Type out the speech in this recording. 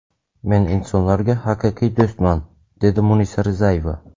Men insonlarga haqiqiy do‘stman!” dedi Munisa Rizayeva.